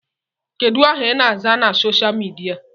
Kedụ aha I na-aza na soshal midia?